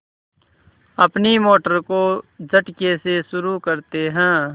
अपनी मोटर को झटके से शुरू करते हैं